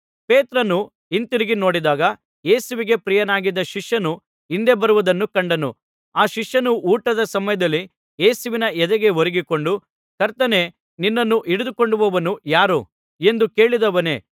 ಪೇತ್ರನು ಹಿಂತಿರುಗಿ ನೋಡಿದಾಗ ಯೇಸುವಿಗೆ ಪ್ರಿಯನಾಗಿದ್ದ ಶಿಷ್ಯನು ಹಿಂದೆ ಬರುವುದನ್ನು ಕಂಡನು ಆ ಶಿಷ್ಯನು ಊಟದ ಸಮಯದಲ್ಲಿ ಯೇಸುವಿನ ಎದೆಗೆ ಒರಗಿಕೊಂಡು ಕರ್ತನೇ ನಿನ್ನನ್ನು ಹಿಡಿದುಕೊಡುವವನು ಯಾರು ಎಂದು ಕೇಳಿದವನೇ